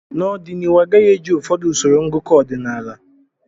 N'ọdịnihu agaghị eji ụfọdụ usoro ngụkọ ọdịnala